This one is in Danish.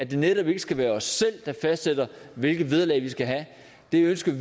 det netop ikke skal være os selv der fastsætter hvilket vederlag vi skal have vi ønsker